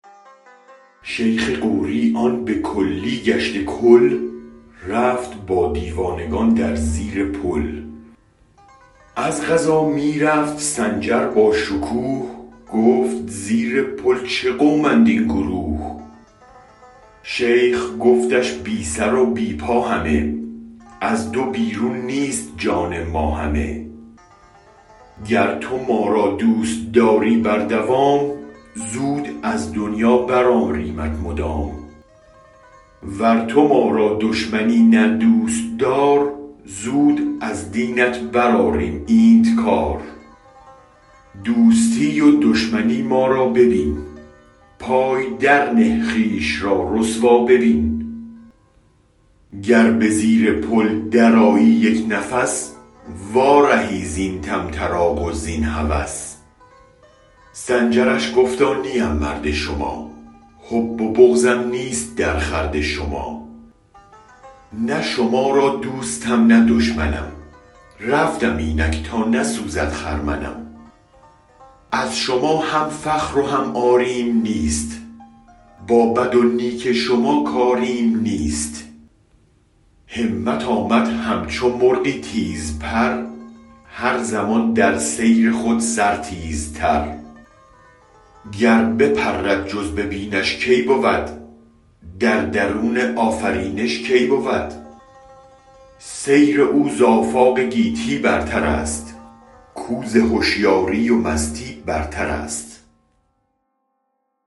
شیخ غوری آن به کلی گشته کل رفت با دیوانگان در زیر پل از قضا می رفت سنجر با شکوه گفت زیر پل چه قومند این گروه شیخ گفتش بی سر و بی پا همه از دو بیرون نیست جان ما همه گر تو ما را دوست داری بر دوام زود از دنیا برآریمت مدام ور تو ما را دشمنی نه دوست دار زود از دینت برآریم اینت کار دوستی و دشمنی ما را ببین پای درنه خویش را رسوا ببین گر بزیر پل درآیی یک نفس وارهی زین طم طراق و زین هوس سنجرش گفتا نیم مرد شما حب و بغضم نیست درخورد شما نه شما را دوستم نه دشمنم رفتم اینک تا نسوزد خرمنم از شما هم فخر و هم عاریم نیست با بدو نیک شما کاریم نیست همت آمد همچو مرغی تیز پر هر زمان در سیر خود سر تیزتر گر بپرد جز ببینش کی بود در درون آفرینش کی بود سیر او ز آفاق گیتی برترست کو ز هشیاری و مستی برترست